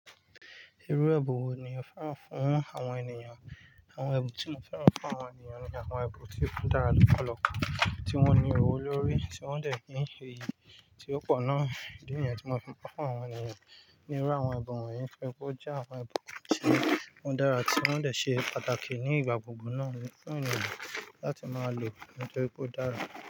Irú ẹbùn wo ni o fẹ́ran fún àwọn ènìyàn? Àwọn ẹbùn tí mo fẹ́ran fún àwọn ènìyàn ni àwọn ẹbùn tí ó dára lọ́pọ̀lọpọ̀, tí wọ́n ní ihò lórí, tí wọ́n dẹ̀ kí n ṣe ìyí tí ó pọ̀ náà. Ìdí nìyẹn tí mo fẹ́ran fún àwọn ènìyàn ni irú àwọn ẹbùn wọ́n yìí fún igbó jẹ́ àwọn ẹbùn tí wọ́n dára tí wọ́n dẹ̀ ṣe pàtàkì ní ìgbà gbogbo náà fún ènìyàn láti máa lò nítorí pé ó dára.